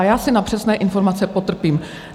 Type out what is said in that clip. A já si na přesné informace potrpím.